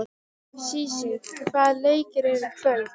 Sísí, hvaða leikir eru í kvöld?